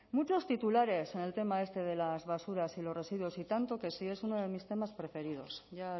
muchos titulares en el tema este de las basuras y los residuos y tanto que sí es uno de mis temas preferidos ya